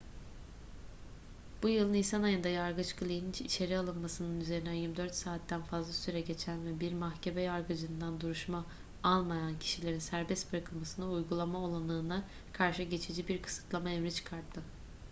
bu yıl nisan ayında yargıç glynn içeri alınmasının üzerinden 24 saatten fazla süre geçen ve bir mahkeme yargıcından duruşma almayan kişilerin serbest bırakılmasını uygulama olanağına karşı geçici bir kısıtlama emri çıkarttı